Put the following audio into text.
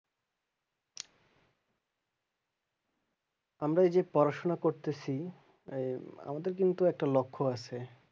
আমরা এই যে পড়াশোনা করতেছি এই আমাদের কিন্তু একটা লক্ষ্য আছে।